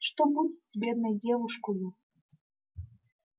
что будет с бедной девушкою